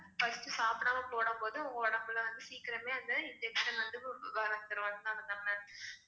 first சாப்பிடாம போடும்போது உங்க உடம்புல வந்து சீக்கிரமே அந்த injection வந்து அதனாலதான் ma'am